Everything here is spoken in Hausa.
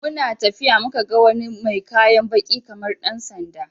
We saw someone with black cloth like police uniform, when we were walking.